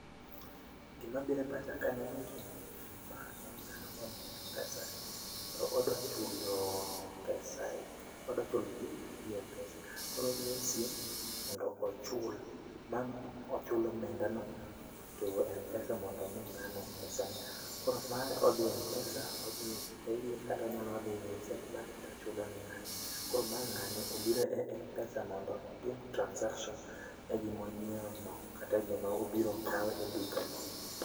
Gimabire pacha kaneno gini, ma en dhano modhiye M-pesa, kendo odwachulo pesa odwachulo bill gi M-pesa. Koro odhi e sim mondo ochul omenda no to M-pesa mondo mi ng'ano pesa ne. Koro mae odhiye M-pesa, odhi e Pay Bill kato onyalo odhiye Send money tochulo ng'ano. Koro ma ng'ani obiro e M-pesa mondo otim transaction e gimo nyiewo no kata e gimo biro kawo e vduka no.